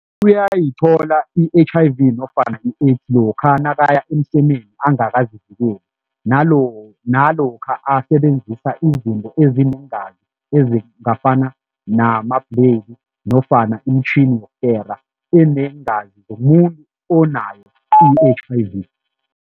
Uyayithola i-H_I_V nofana i-AIDS lokha nakaya emsemeni angakazivikeli nalokha asebenzisa izinto ezinengazi ezingafani nama nofana imitjhini yokukera eneengazi zomuntu onayo i-H_I_V.